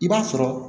I b'a sɔrɔ